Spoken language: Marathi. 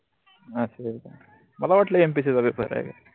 अस होय मला वाटल MPSC चा पेपर आहे.